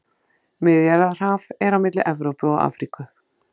Miðjarðarhaf er á milli Evrópu og Afríku.